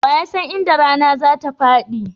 Wa ya san inda rana zatafaɗi?